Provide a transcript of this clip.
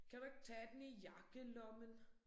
Kan du ikke tage den i jakkelommen?